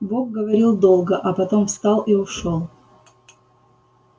бог говорил долго а потом встал и ушёл